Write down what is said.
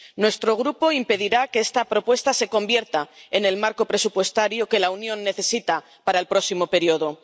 Nuestro Grupo impedirá que esta propuesta se convierta en el marco presupuestario que la Unión necesita para el próximo período.